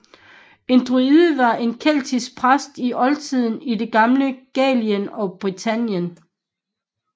En druide var en keltisk præst i oldtiden i det gamle Gallien og Britannien